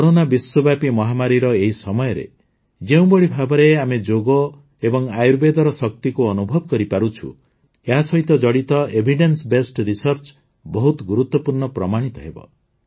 corona ବିଶ୍ୱବ୍ୟାପୀ ମହାମାରୀର ଏହି ସମୟରେ ଯେଉଁଭଳି ଭାବରେ ଆମେ ଯୋଗ ଏବଂ ଆୟୁର୍ବେଦର ଶକ୍ତିକୁ ଅନୁଭବ କରିପାରୁଛୁ ଏଥିରେ ଏହାସହିତ ଜଡ଼ିତ ଏଭିଡେନ୍ସ ବେସ୍ଡ ରିସର୍ଚ୍ଚ ବହୁତ ଗୁରୁତ୍ୱପୂର୍ଣ୍ଣ ପ୍ରମାଣିତ ହେବ